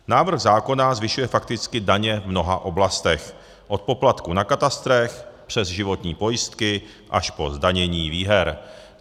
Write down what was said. Návrh zákona zvyšuje fakticky daně v mnoha oblastech - od poplatků na katastrech přes životní pojistky až po zdanění výher.